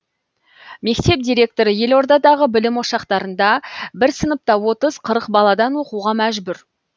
мектеп директоры елордадағы білім ошақтарында бір сыныпта отыз қырық баладан оқуға мәжбүр